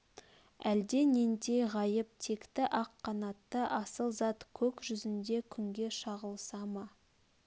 әлде нендей ғайып текті ақ қанатты асыл зат көк жүзнде күнге шағылыса ма